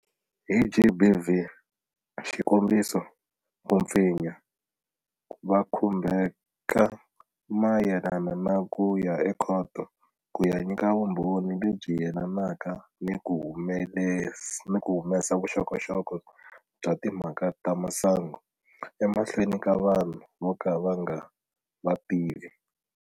Hi GBV, xikombiso, ku pfinya, va khumbheka mayelana na ku ya ekhoto ku ya nyika vumbhoni lebyi yelanaka ni ku humesa vuxokoxoko bya timhaka ta masangu emahlweni ka vanhu vo ka va nga va tivi.